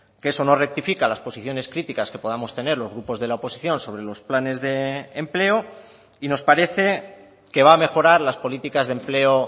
que eso no rectifica las posiciones críticas que podamos tener los grupos de la oposición sobre los planes de empleo y nos parece que va a mejorar las políticas de empleo